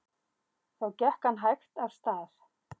Þá gekk hann hægt af stað.